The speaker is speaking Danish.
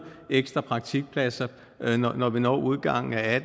ekstra praktikpladser når vi når udgangen af